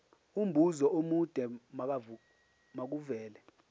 umbuzo omude makuvele